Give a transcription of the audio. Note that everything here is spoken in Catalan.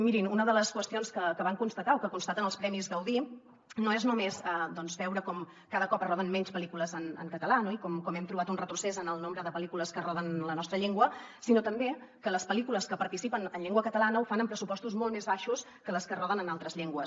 mirin una de les qüestions que van constatar o que constaten els premis gaudí no és només veure com cada cop es roden menys pel·lícules en català i com hem trobat un retrocés en el nombre de pel·lícules que es roden en la nostra llengua sinó també que les pel·lícules que hi participen en llengua catalana ho fan amb pressupostos molt més baixos que les que es roden en altres llengües